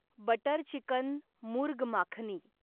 butter chicken murgh makhani